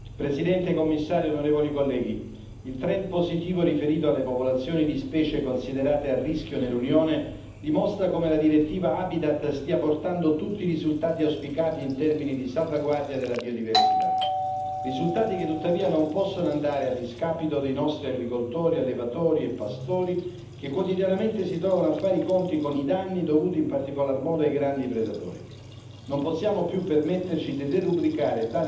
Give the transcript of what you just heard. Signor Presidente, onorevoli colleghi, signor Commissario, il trend positivo riferito alle popolazioni di specie considerate a rischio nell'Unione dimostra come la direttiva Habitat stia portando tutti i risultati auspicati in termini di salvaguardia della biodiversità. Risultati che, tuttavia, non possono andare a discapito dei nostri agricoltori, allevatori e pastori, che quotidianamente si trovano a fare i conti con i danni dovuti in particolar modo ai grandi predatori.